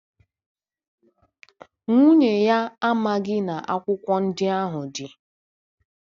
Nwunye ya amaghị na akwụkwọ ndị ahụ dị.